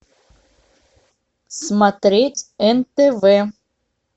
смотреть нтв